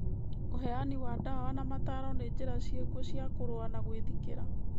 ũheani wa dawa na mataro nĩ njĩra ciĩkuo cia kũrũa na gwĩthikĩra